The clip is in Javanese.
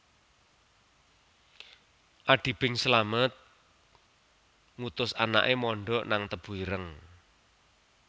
Adi Bing Slamet ngutus anake mondok nang Tebu Ireng